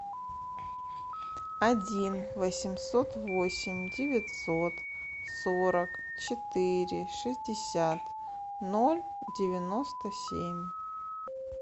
один восемьсот восемь девятьсот сорок четыре шестьдесят ноль девяносто семь